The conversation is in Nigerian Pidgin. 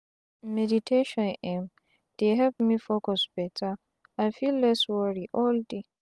meditation emm dey help me focus beta and feel less wori all day.